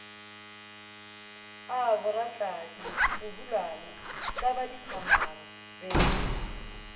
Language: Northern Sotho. a boratladi bohulwana thlabadithamaga be